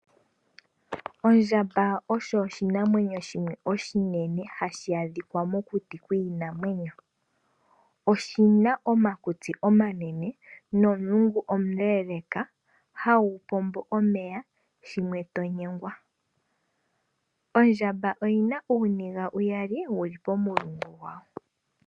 Ondjamba osho oshinamwenyo shimwe oshinene hashi adhikwa mokuti kwiinamwenyo. Oshina omakutsi omanene nomulungu omu leeleka hagu pombo omeya, shimwe to nyengwa. Ondjamba oyi na uuniga uyali wu li pomulungu gwayo.